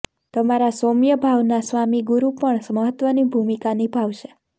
તમારા સોમ્ય ભાવના સ્વામી ગુરુ પણ મહત્વની ભૂમકા નિભાવશે